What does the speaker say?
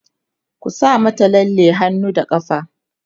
ku sa mata lalle a hannu da ƙafa!